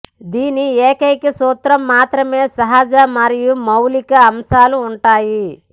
దీని ఏకైక సూత్రం మాత్రమే సహజ మరియు మూలికా అంశాలు ఉంటాయి